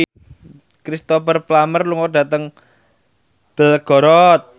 Cristhoper Plumer lunga dhateng Belgorod